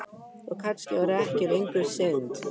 Og kannski var það ekki lengur synd.